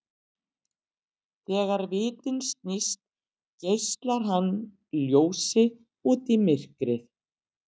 Þegar vitinn snýst geislar hann ljósi út í myrkrið.